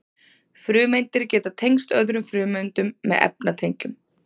frumeindir geta tengst öðrum frumeindum með efnatengjum